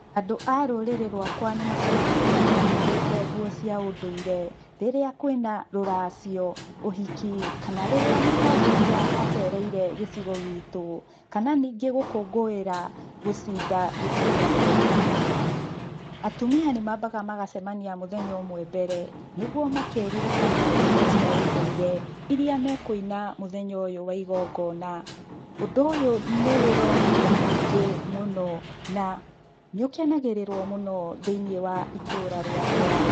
Andũ a rũrĩrĩ rwakwa nĩ macemanagia me humbĩte nguo cia ũnduire, rĩria kwĩna rũracio, ũhiki, kana rĩrĩa mũtongoria acereire gĩcigo gitũ, kana ningĩ gũkũngũira gũcinda ithurano. Atumia nĩ mambaga magacemania mũthenya ũmwe mbere, nĩguo makeririkania nyĩmbo cia ũndũire, iria mekũina mũthenya ũyũ wa igongona. Ũndũ ũyũ nĩ wĩroragĩrwo nĩ mũingĩ mũno na , nĩ ũkenagĩrĩrwo mũno thĩiniĩ wa itũũra rĩakwa.